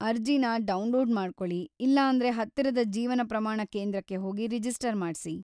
ಅರ್ಜಿನ ಡೌನ್ಲೋಡ್‌ ಮಾಡ್ಕೊಳಿ ಇಲ್ಲಾಂದ್ರೆ ಹತ್ತಿರದ ಜೀವನ ಪ್ರಮಾಣ ಕೇಂದ್ರಕ್ಕೆ ಹೋಗಿ ರಿಜಿಸ್ಟರ್ ಮಾಡ್ಸಿ.